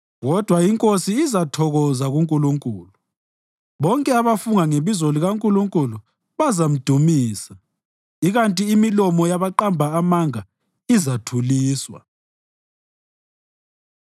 Kodwa inkosi izathokoza kuNkulunkulu; bonke abafunga ngebizo likaNkulunkulu bazamdumisa, ikanti imilomo yabaqamba amanga izathuliswa.